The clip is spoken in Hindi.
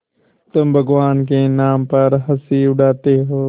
तुम भगवान के नाम पर हँसी उड़ाते हो